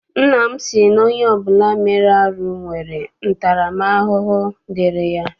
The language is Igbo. Nna m sị na onye ọbụla mere arụ nwere ntara m ahụhụ dịịrị ya.